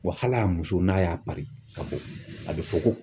hali a muso n'a y'a pari ka bɔ, a bɛ fɔ ko